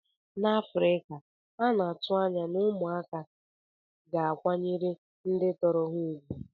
N'Afrika, a na-atụ anya na ụmụaka ga-akwanyere ndị tọrọ ha ùgwù.